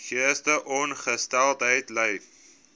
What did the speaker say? geestesongesteldheid ly